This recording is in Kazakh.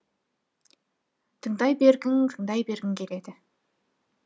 тыңдай бергің тыңдай бергің келеді